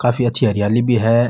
काफी अच्छी हरियाली भी है।